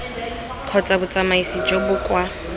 kgotsa botsamaisi jo bo kwa